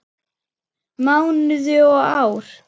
Mánuði og ár.